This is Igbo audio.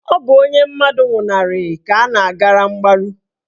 Ọ bụ onye mmadụ nwụnarị ka a na-agara mgbaru.